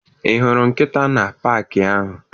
Ị hụrụ nkịta na paakị ahụ?